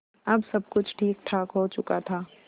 अब सब कुछ ठीकठाक हो चुका था